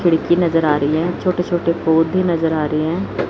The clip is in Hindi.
खिड़की नजर आ रही है छोटे छोटे पौधे नजर आ रहे हैं।